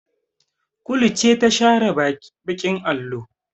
Kulu ce ta share baƙin allo.